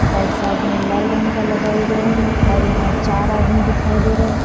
side side में लाल रंग का लगाए गए हैं और यहां चार आदमी दिखाई दे रहे--